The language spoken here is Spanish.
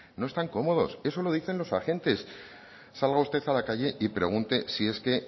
no están cómodos eso lo dicen los agentes salga usted a la calle y pregunte si es que